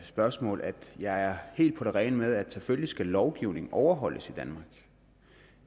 spørgsmål at jeg er helt på det rene med at selvfølgelig skal lovgivningen overholdes i danmark